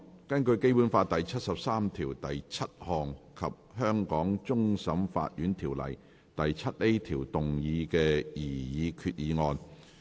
根據《基本法》第七十三條第七項及《香港終審法院條例》第 7A 條動議的擬議決議案。